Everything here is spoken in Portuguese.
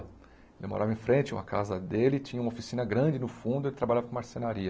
Ele morava em frente à uma casa dele, tinha uma oficina grande no fundo, ele trabalhava com marcenaria.